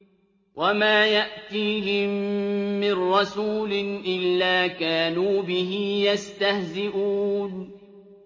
وَمَا يَأْتِيهِم مِّن رَّسُولٍ إِلَّا كَانُوا بِهِ يَسْتَهْزِئُونَ